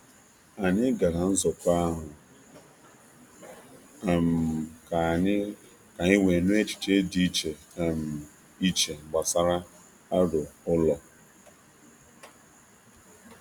Anyị gara nzukọ ahụ um ka anyị ka anyị wee nụ echiche dị iche um iche gbasara aro ụlọ.